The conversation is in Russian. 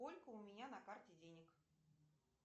сколько у меня на карте денег